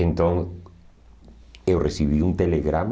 Então, eu recebi um telegrama